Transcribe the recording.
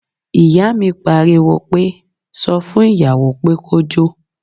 Ìyá mi pariwo pé, sọ fún ìyàwó pé kó jó